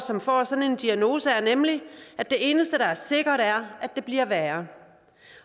som får sådan en diagnose er nemlig at det eneste der er sikkert er at det bliver værre